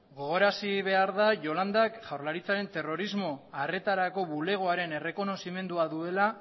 gogorazi behar da yolandak jaurlaritzaren terrorismo arretarako bulegoaren errekonozimendua duela